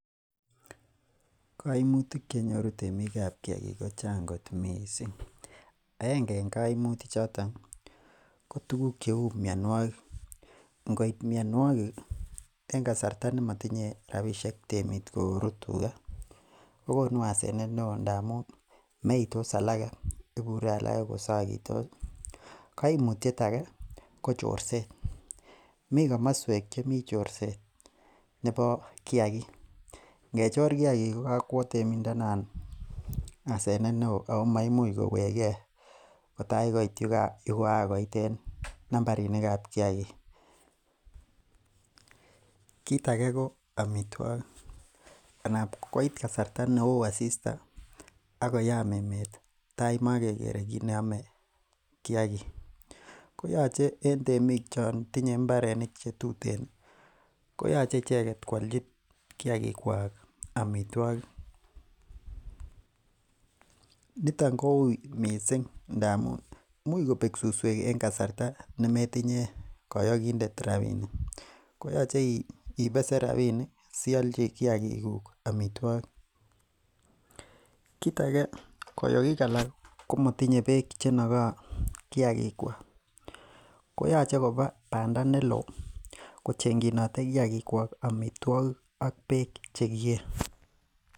En koimutik chenyoru temikab kiagik ko Chang kot missing. Aenge en koimutik choton ko tuguk cheuu mionwokik, ingobit mianikik en kasarta nemotinye temik robinik kcheruten tuka kokonu asenet neoo missing ndamun meitos alake kobure alage kosagitos. Kaimutiet age ko chorset , mi komosuek chemi chorset nebo kiagik, ingechor kiagik ko kakwo temindet noon asenet neoo ako maimuch koweege kotaikoit koityi yekoagoit en nambarinikab kiagik. Kit age ko amituakik anapkoit kasarta neoo asista akoyaam emeet tai komagekere kineomee kiagik koyoche en temik chon tinye imbarenik chetuten koyoche icheket koalchi kiagikuak amituogik nito kouui missing, imuch kobek susuek en kasarta nemotinye koyokindet rabinik koyoche ibesen rabinik siialchi kiagikug amituakik. Kit age koyogik alak komotinye beek cheinokoo kiagikuak koyoche kobaa bandaa neloo ko cheng'chinote kiagikuak amituogik ak beek chegie.